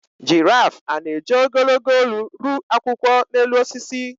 Giraf a na-eji ogologo olu ru akwụkwọ n’elu osisi?